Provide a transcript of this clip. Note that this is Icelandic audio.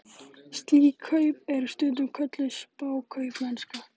Slík kaup eru stundum kölluð spákaupmennska.